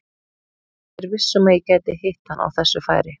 Ég er viss um að ég gæti hitt hann á þessu færi.